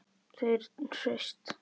Þau eru hraust